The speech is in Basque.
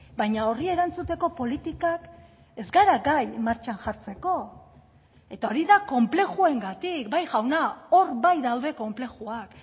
baina horri erantzuteko politikak ez gara gai martxan jartzeko eta hori da konplexuengatik bai jauna hor bai daude konplexuak